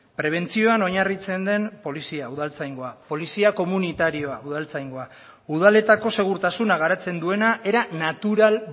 prebentzioan oinarritzen den polizia udaltzaingoa polizia komunitarioa udaltzaingoa udaletako segurtasuna garatzen duena era natural